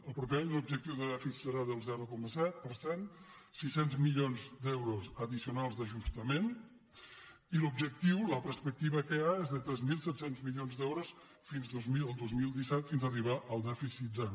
el proper any l’objectiu de dèficit serà del zero coma set per cent sis cents milions d’euros addicionals d’ajustament i l’objectiu la perspectiva que hi ha és de tres mil set cents milions d’euros fins al dos mil disset fins arribar al dèficit zero